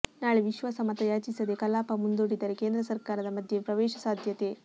ನಾಳೆ ವಿಶ್ವಾಸ ಮತಯಾಚಿಸದೇ ಕಲಾಪ ಮುಂದೂಡಿದರೆ ಕೇಂದ್ರ ಸರಕಾರದ ಮಧ್ಯ ಪ್ರವೇಶ ಸಾಧ್ಯತೆ